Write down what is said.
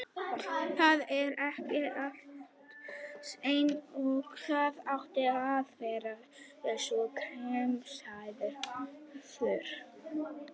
Það var ekki allt eins og það átti að vera við svona kringumstæður.